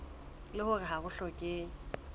leng hore ha ho hlokehe